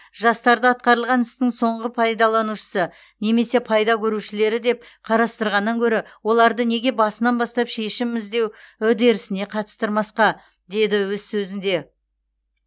жастарды атқарылған істің соңғы пайдаланушысы немесе пайда көрушілері деп қарастырғаннан гөрі оларды неге басынан бастап шешім іздеу үдерісіне қатыстырмасқа деді өз сөзінде